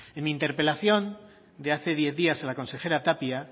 en mi interpelación de hace diez días a las consejera tapia